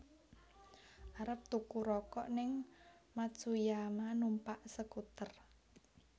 Arep tuku rokok ning Matsuyama numpak skuter